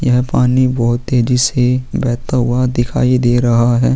यह पानी भोत तेजी से बहता हुआ दिखाई दे रहा है।